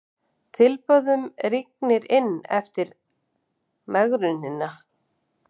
Tilboðunum rignir inn eftir megrunina